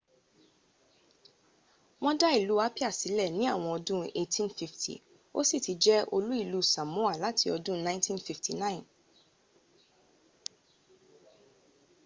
wọ́n dá ìlú apia sílẹ̀ ní àwọn ọdún 1850 ó sì ti jẹ̀ olú ìlú samoa láti ọdún 1959